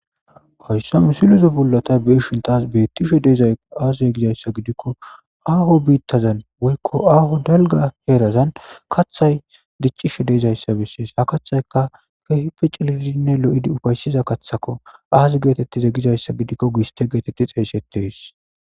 hoyssame silozo bullota beishintas bettishe deezayo aazaz gizayssa gidikko aaho biittazan woykko aaho dalga heerazan kathay diccishe deezayssa bessees ha kathayka kehipe ciliinne lo7idi ufayssiza kaththako aazi geetettize gizayssa gidikko giiste geetetti xeeysetees